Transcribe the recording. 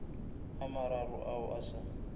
a mararo ao a sa